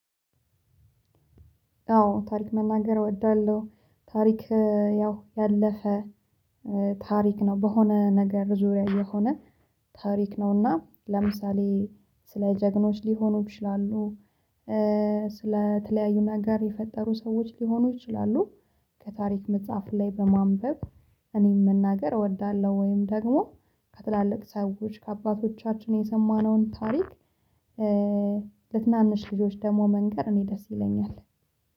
አዎ ታሪክ መናገር እወዳለሁ ታሪክ ያው ያለፈ ነው። በሆነ ነገር ዙሪያ የሆነ ታሪክ ነው እና ለምሳሌ ስለ ጀግኖች ሊሆኑ ይችላሉ ስለ ተለያዩ ነገር የፈጠሩ ሰዎች ሊሆኑ ይችላሉ ከታሪክ መጽሐፍ ላይ በማንበብ እኔም መናገር እወዳለሁ። ወይም ደግሞ ከትላልቅ ሰዎች ከአባቶቻችን የሰማነውን ታሪክ ልትናንሽ ልጆች ደግሞ መንገር እኔ ደስ ይለኛል።